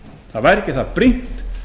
það væri ekki það brýnt